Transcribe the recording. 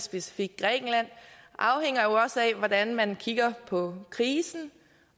specifikt grækenland afhænger jo også af hvordan man kigger på krisen